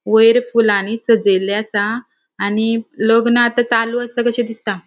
वयर फुलानी सजेल्ले आसा आणि लग्न आता चालू आसा कशे दिसता.